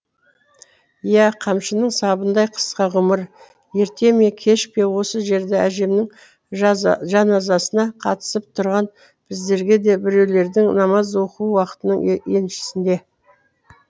иә қамшының сабындай қысқа ғұмыр ерте ме кеш пе осы жерде әжемнің жаназасына қатысып тұрған біздерге де біреулердің намаз оқуы уақытының еншісінде